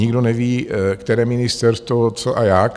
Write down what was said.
Nikdo neví, které ministerstvo co a jak.